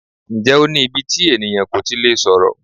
Ǹjẹ́ o ní íbí tí ènìyàn kò tí lè sọ̀rọ̀?